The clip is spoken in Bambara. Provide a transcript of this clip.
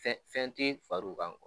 Fɛn fɛn ti far'u kan.